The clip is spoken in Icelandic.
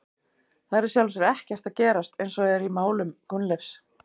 Það er í sjálfu sér ekkert að gerast eins og er í málum Gunnleifs.